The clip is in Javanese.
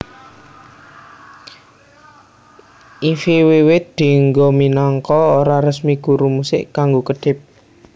Ify wiwit dienggo minangka ora resmi guru musik kanggo kedhip